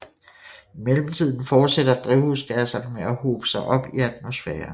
I mellemtiden fortsætter drivhusgasserne med at hobe sig op i atmosfæren